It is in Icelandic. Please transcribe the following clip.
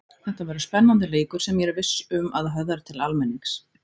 Þetta verður spennandi leikur sem ég er viss um að höfðar til almennings.